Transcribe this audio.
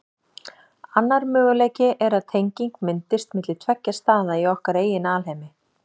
Annar möguleiki er að tenging myndist milli tveggja staða í okkar eigin alheimi.